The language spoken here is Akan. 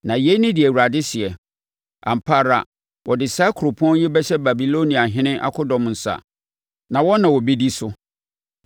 Na yei ne deɛ Awurade seɛ, ‘Ampa ara, wɔde saa kuropɔn yi bɛhyɛ Babiloniahene akodɔm nsa, na wɔn na wɔbɛdi so.’ ”